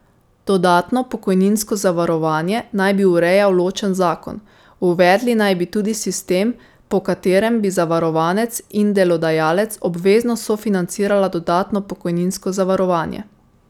Dodatno pokojninsko zavarovanje naj bi urejal ločen zakon, uvedli naj bi tudi sistem, po katerem bi zavarovanec in delodajalec obvezno sofinancirala dodatno pokojninsko zavarovanje.